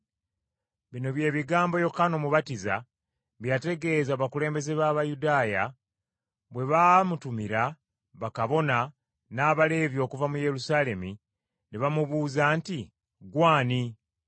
Bino bye bigambo Yokaana Omubatiza bye yategeeza abakulembeze b’Abayudaaya bwe baamutumira bakabona n’Abaleevi okuva mu Yerusaalemi ne bamubuuza nti, “Ggwe ani?”